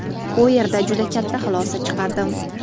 U yerda juda katta xulosa chiqardim.